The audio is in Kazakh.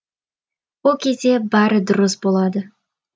ол кезде бәрі дұрыс болады